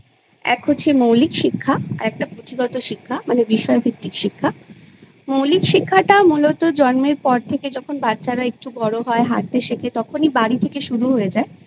এক হয় মৌলিক শিক্ষা আর একটা পুঁথিগত শিক্ষা মানে বিষয়ভিত্তিক শিক্ষা মৌলিক শিক্ষাটা মূলত জন্মের পর থেকে যখন বাচ্ছারা একটু বড়ো হয় হাটতে শেখে তখনি বাড়ি থেকে শুরু হয়ে যায়